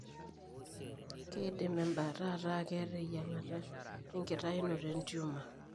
Keidim embaata ataa keeta eyieng'ata enkitainoto entumor.